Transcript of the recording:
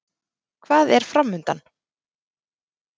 Hvað er framundan?